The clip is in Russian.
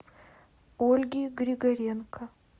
ольги григоренко